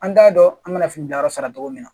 An t'a dɔn an bɛna fini bila yɔrɔ sara cogo min na